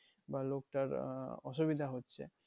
বা লোকটার আহ অসুবিধা হচ্ছে